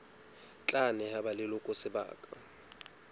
tla neha ba leloko sebaka